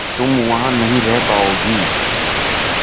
तुम वहां नहीं रह पाओगी